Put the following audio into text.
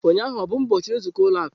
Ụnyaahụ ọ bụ ụbọchị nzukọ ụlọ akụ?